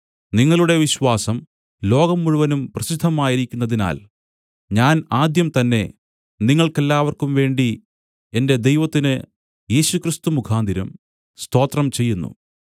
നിങ്ങളുടെ വിശ്വാസം ലോകം മുഴുവനും പ്രസിദ്ധമായിരിക്കുന്നതിനാൽ ഞാൻ ആദ്യം തന്നെ നിങ്ങൾക്കെല്ലാവർക്കും വേണ്ടി എന്റെ ദൈവത്തിന് യേശുക്രിസ്തു മുഖാന്തരം സ്തോത്രം ചെയ്യുന്നു